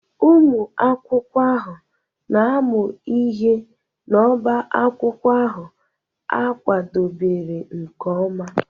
Ụmụ akwụkwọ ahụ na-amụ ihe n'obá akwụkwọ ahụ a kwadebere nke ọma.